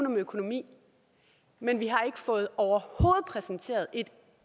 om økonomi men vi har overhovedet ikke fået præsenteret et